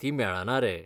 ती मेळना रे.